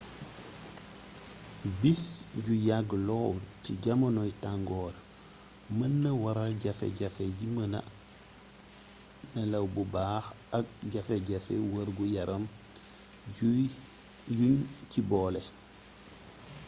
bis yu yàgg lool ci jamonoy tangoor mën naa waral jafe-jafe yi mëna nelaw bu baax ak jafe-jafey wergu-yaram yuñ ci boole